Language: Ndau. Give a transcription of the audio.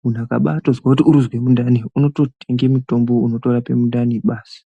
muntu akazwa kuti arikuzwa mundane anotenga mutombo onorape mundane basi